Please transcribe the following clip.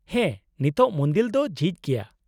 -ᱦᱮᱸ, ᱱᱤᱛᱚᱜ ᱢᱩᱱᱫᱤᱞ ᱫᱚ ᱡᱷᱤᱡ ᱜᱮᱭᱟ ᱾